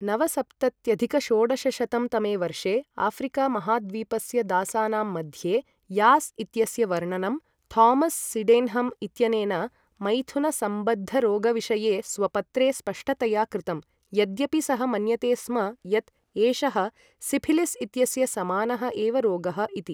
नवसप्तत्यधिक षोडशशतं तमे वर्षे आफ्रिका महाद्वीपस्य दासानां मध्ये यास् इत्यस्य वर्णनं थोमस् सिडेन्हम् इत्यनेन मैथुनसम्बद्धरोगविषये स्वपत्रे स्पष्टतया कृतं, यद्यपि सः मन्यते स्म यत् एषः सिफिलिस् इत्यस्य समानः एव रोगः इति।